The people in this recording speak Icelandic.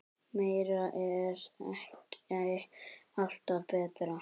Meira er ekki alltaf betra.